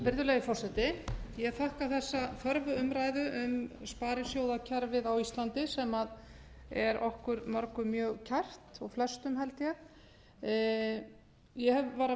virðulegi forseti ég þakka þessa þörfu umræðu um sparisjóðakerfið á íslandi sem er okkur mörgum mjög kært og flestum held ég ég var að